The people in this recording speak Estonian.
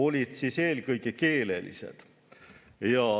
Need olid eelkõige keelelised.